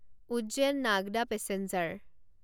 Ujjain Nagda passenger